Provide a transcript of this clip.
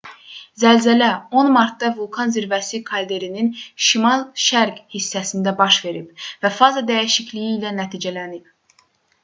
zəlzələ 10 martda vulkan zirvəsi kalderinin şimal-şərq hissəsində baş verib və faza dəyişikliyi ilə nəticələnib